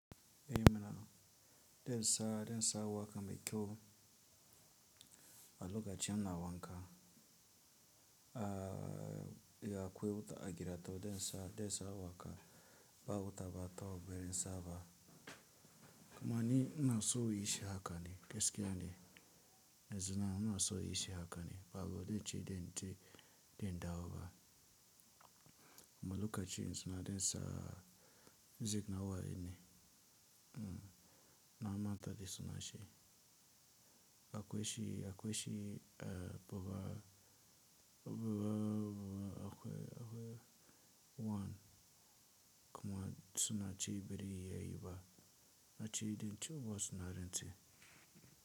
Mana densa densa waka mai kyau a lokacin ina wanka, a kwai wuta a gida toh densa densa waka ba wuta ba kawo beren saba. Kuma ni ina so yin shi haka ne gaskiya ne, yanzun nan ina so yin shi haka ne ba go denchi denchi den dawo ba. Lokacin tsina densa zip na waye ne, na mata de suna shi. Akwai shi akwai shi a buba buba buba akwai akwai wan kuma suna ci biri yayi ba, na ci denci uwasu na rantse.